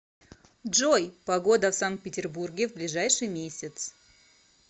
джой погода в санкт петербурге в ближайший месяц